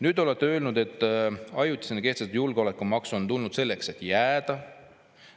Nüüd olete öelnud, et ajutisena kehtestatud julgeolekumaks on tulnud selleks, et jääda.